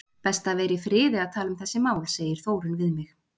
Best að vera í friði að tala um þessi mál, segir Þórunn við mig.